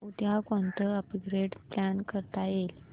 उद्या कोणतं upgrade plan करता येईल